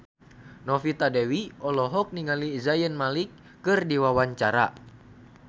Novita Dewi olohok ningali Zayn Malik keur diwawancara